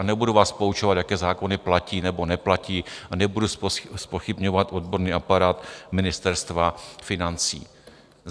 A nebudu vás poučovat, jaké zákony platí nebo neplatí, a nebudu zpochybňovat odborný aparát Ministerstva financí.